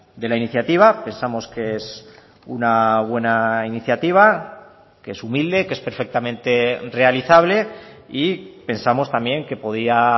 de la iniciativa pensamos que es una buena iniciativa que es humilde que es perfectamente realizable y pensamos también que podía